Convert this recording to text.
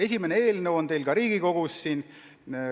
Esimene sellekohane eelnõu on juba siin Riigikogus.